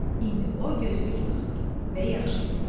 İndi o gözlük taxır və yaxşı görür.